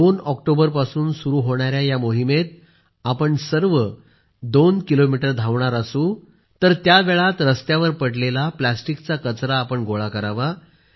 2 ऑक्टोबरपासून सुरू होणाऱ्या या मोहिमेत आपण सर्व दोन किलोमीटर अंतर चालणार असू तर त्या वेळात रस्त्यावर पडलेल्या प्लास्टिकचा कचरा गोळा करावा